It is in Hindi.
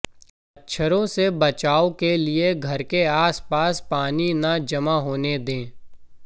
मच्छरों से बचाव के लिए घर के आसपास पानी न जमा होने दें